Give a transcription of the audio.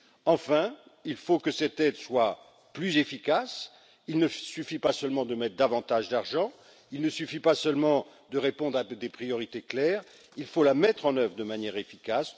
Enfin, il faut que cette aide soit plus efficace, il ne suffit pas seulement de mettre davantage d'argent, il ne suffit pas seulement de répondre à des priorités claires, il faut la mettre en œuvre de manière efficace.